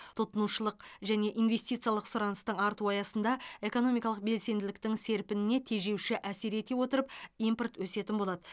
тұтынушылық және инвестициялық сұраныстың артуы аясында экономикалық белсенділіктің серпініне тежеуші әсер ете отырып импорт өсетін болады